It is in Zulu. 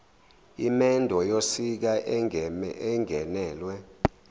imendo yosiko engenelwe